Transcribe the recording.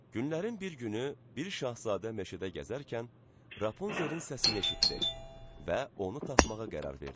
Günlərin bir günü bir şahzadə meşədə gəzərkən Rapunzelin səsini eşitdi və onu tapmağa qərar verdi.